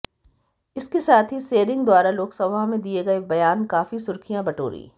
इसके साथ ही सेरिंग द्वारा लोकसभा में दिए गए बयान काफी सुर्खियां बटोरी